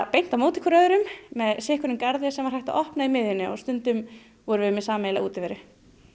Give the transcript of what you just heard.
beint á móti hvor öðrum með sitthvorn garðinn sem var hægt að opna í miðjunni og stundum vorum við með sameiginlega útiveru